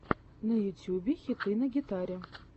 на ютьюбе хиты на гитаре